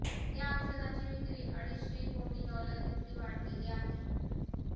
या औषधाची विक्री अडीचशे कोटी डॉलर इतकी वाढलेली आहे